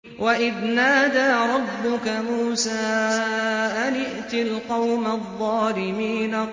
وَإِذْ نَادَىٰ رَبُّكَ مُوسَىٰ أَنِ ائْتِ الْقَوْمَ الظَّالِمِينَ